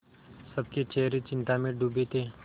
सबके चेहरे चिंता में डूबे थे